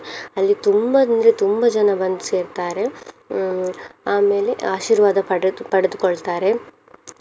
ಅಲ್ಲಿ ತುಂಬ ಅಂದ್ರೆ ತುಂಬ ಜನ ಬಂದು ಸೇರ್ತಾರೆ. ಅಹ್ ಆಮೇಲೆ ಆಶೀರ್ವಾದ ಪಡೆದು~ ಪಡೆದುಕೊಳ್ತಾರೆ.